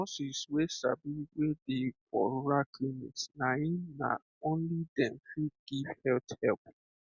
nurses wey sabi wey dey for rural clinic na erm na only dem fit give health help